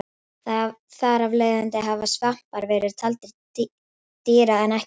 Þar af leiðandi hafa svampar verið taldir til dýra en ekki plantna.